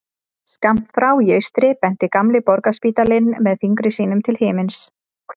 Skammt frá í austri benti gamli Borgarspítalinn með fingri sínum til himins.